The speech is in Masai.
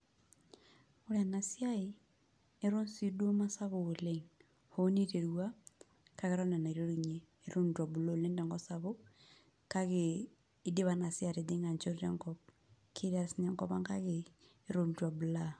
Ore ena siai eton sii duo mesapuk oleng' hoo niterua kake eton ee enaiterunyie eton itu ebulu oleng' tenkop sapuk kake idipa ina siai atijing'a enchoto enkop, ketii taa sininye enkop ang' kake eton itu ebulaa.